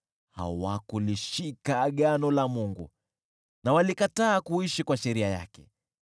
Hawakulishika agano la Mungu na walikataa kuishi kwa sheria yake.